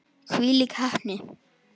Hvílík heppni!